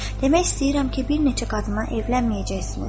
Demək istəyirəm ki, bir neçə qadına evlənməyəcəksiniz.